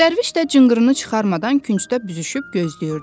Dərviş də cınqırını çıxarmadan küncdə büzüşüb gözləyirdi.